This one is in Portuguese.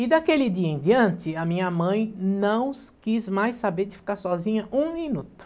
E daquele dia em diante, a minha mãe não quis mais saber de ficar sozinha um minuto.